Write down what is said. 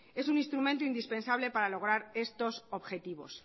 es un instrumento indispensable para lograr estos objetivos